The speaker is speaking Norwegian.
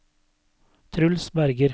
Truls Berger